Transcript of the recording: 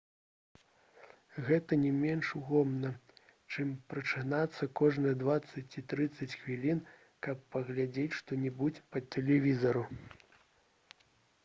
гэта не менш утомна чым прачынацца кожныя дваццаць ці трыццаць хвілін каб паглядзець што-небудзь па тэлевізару